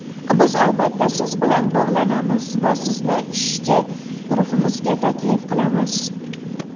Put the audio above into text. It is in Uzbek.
Biz albatta siz bilan bog‘lanamiz va sizni ishchi guruhimizga taklif qilamiz.